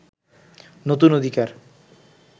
নতুন অধিকার